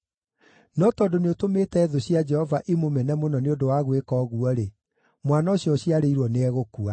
No tondũ nĩũtũmĩte thũ cia Jehova imũmene mũno nĩ ũndũ wa gwĩka ũguo-rĩ, mwana ũcio ũciarĩirwo nĩegũkua.”